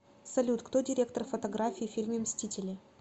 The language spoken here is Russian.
салют кто директор фотографии в фильме мстители